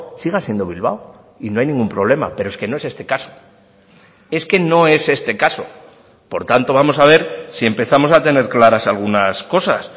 siga siendo bilbao y no hay ningún problema pero es que no es este caso es que no es este caso por tanto vamos a ver si empezamos a tener claras algunas cosas